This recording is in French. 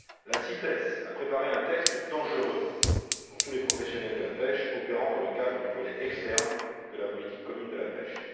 La CITES a préparé un texte dangereux pour tous les professionnels de la pêche actifs dans le cadre du volet externe de la politique commune de la pêche.